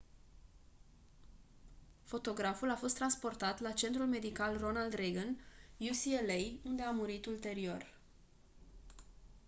fotograful a fost transportat la centrul medical ronald reagan ucla unde a murit ulterior